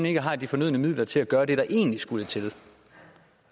ikke har de fornødne midler til at gøre det der egentlig skulle til